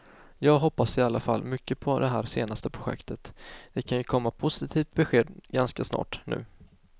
Jag hoppas i alla fall mycket på det här senaste projektet, det kan komma ett positivt besked ganska snart nu.